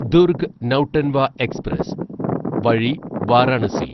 Durg Nautanwa express വഴി വാരാണസി